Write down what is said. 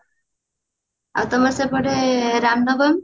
ଆଉ ତମ ସେପଟେ ରାମ ନବମୀ